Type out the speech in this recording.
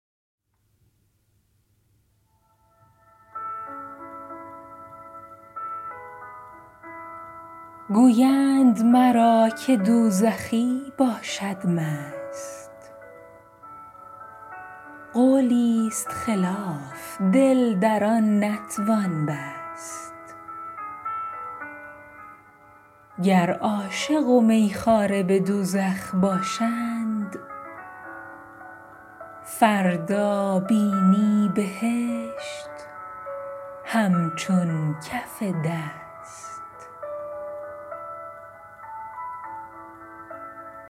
گویند مرا که دوزخی باشد مست قولی ست خلاف دل در آن نتوان بست گر عاشق و می خواره به دوزخ باشند فردا بینی بهشت همچون کف دست